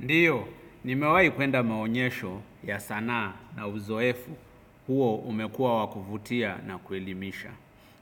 Ndiyo, nimewahi kwenda maonyesho ya sanaa na uzoefu huo umekua wakuvutia na ku elimisha.